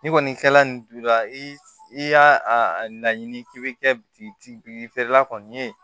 Ni kɔni kɛla nin dula i y'a a laɲini k'i be kɛ biriki feerela kɔni ye